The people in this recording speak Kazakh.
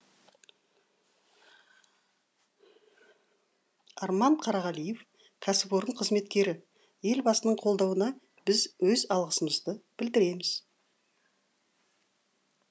арман қарағалиев кәсіпорын қызметкері елбасының қолдауына біз өз алғысымызды білдіреміз